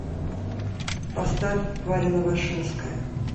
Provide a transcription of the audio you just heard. поставь варя новошинская